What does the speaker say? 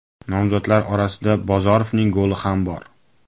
Nomzodlar orasida Bozorovning goli ham bor .